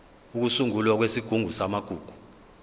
ukusungulwa kwesigungu samagugu